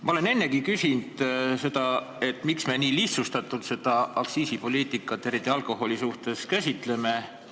Ma olen ennegi küsinud, miks me käsitleme aktsiisipoliitikat, eriti alkoholi suhtes, nii lihtsustatult.